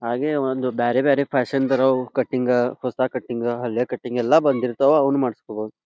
ಹಾಗೆ ಒಂದ್ ಬ್ಯಾರೆ ಬ್ಯಾರೆ ಫ್ಯಾಷನ್ ದರವ್ ಕಟಿಂಗ ಹೊಸ ಕಟಿಂಗ ಹಲ್ಲೆ ಕಟಿಂಗ ಎಲ್ಲಾ ಬಂದಿರ್ತವ್ ಅವನ್ನ ಮಾಡಸ್ಕೊಬೊದ್.